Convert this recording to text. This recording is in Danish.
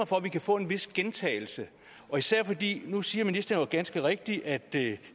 for at vi kan få en vis gentagelse nu siger ministeren jo ganske rigtigt at det